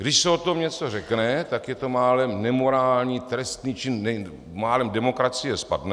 Když se o tom něco řekne, tak je to málem nemorální trestný čin, málem demokracie spadne.